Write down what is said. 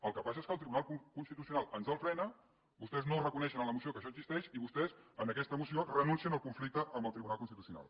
el que passa és que el tribunal constitucional ens el frena vostès no ho reconeixen a la moció que això existeix i vostès en aquesta moció renuncien al conflicte amb el tribunal constitucional